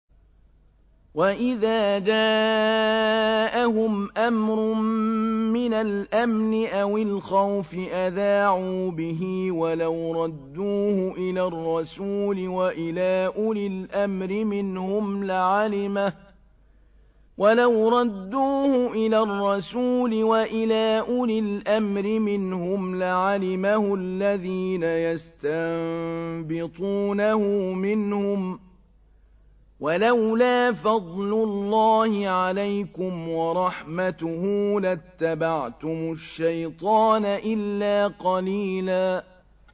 وَإِذَا جَاءَهُمْ أَمْرٌ مِّنَ الْأَمْنِ أَوِ الْخَوْفِ أَذَاعُوا بِهِ ۖ وَلَوْ رَدُّوهُ إِلَى الرَّسُولِ وَإِلَىٰ أُولِي الْأَمْرِ مِنْهُمْ لَعَلِمَهُ الَّذِينَ يَسْتَنبِطُونَهُ مِنْهُمْ ۗ وَلَوْلَا فَضْلُ اللَّهِ عَلَيْكُمْ وَرَحْمَتُهُ لَاتَّبَعْتُمُ الشَّيْطَانَ إِلَّا قَلِيلًا